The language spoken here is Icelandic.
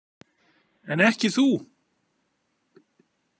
En ekki þú?